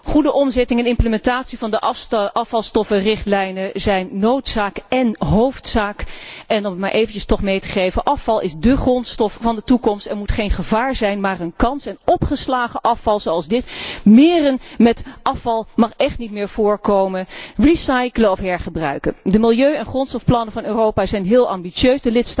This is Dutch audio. Goede omzetting en implementatie van de afvalstoffenrichtlijnen zijn noodzaak en hoofdzaak. En om het toch maar even te vermelden afval is de grondstof van de toekomst en moet geen gevaar zijn, maar een kans. En opgeslagen afval zoals dit meren met afval mag echt niet meer voorkomen. Recyclen of hergebruiken. De milieu en grondstofplannen van Europa zijn heel ambitieus.